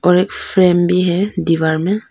एक फ्रेम भी है दीवार में--